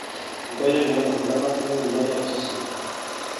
enkoitoi naing'or enkuetata osarge onkulie ariak tosesen